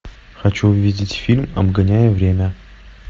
хочу увидеть фильм обгоняя время